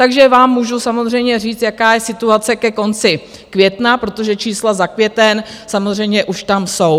Takže vám můžu samozřejmě říct, jaká je situace ke konci května, protože čísla za květen samozřejmě už tam jsou.